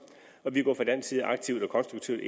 til